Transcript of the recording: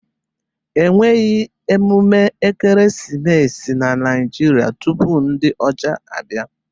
E nweghi emume ekeresimesi na Naijiria tupu ndi ocha abia.